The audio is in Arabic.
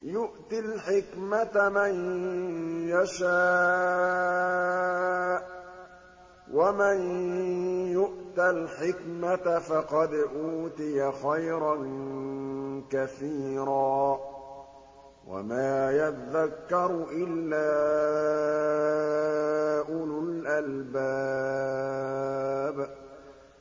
يُؤْتِي الْحِكْمَةَ مَن يَشَاءُ ۚ وَمَن يُؤْتَ الْحِكْمَةَ فَقَدْ أُوتِيَ خَيْرًا كَثِيرًا ۗ وَمَا يَذَّكَّرُ إِلَّا أُولُو الْأَلْبَابِ